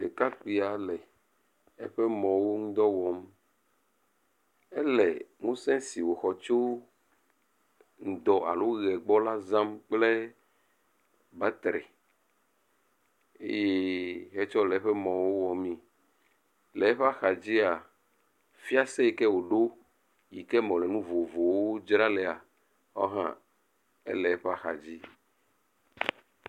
ɖekakpui la eƒe mɔwo ŋudɔ wɔm. Ele ŋusẽ si woxɔ tso ŋdɔ alo ʋe gbɔ la zam kple batri eye hetsɔ le eƒe mɔwo wɔm. Le eƒe axadzia, fiase yi ke woɖo yi ke me wole nu vovovowo dzram le hã le eƒe axadzi.